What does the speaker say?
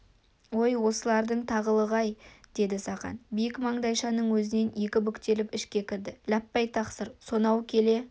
ой осылардың тағылығы-ай деді сақан биік маңдайшаның өзінен екі бүктеліп ішке кірді ләппәй тақсыр сонау келе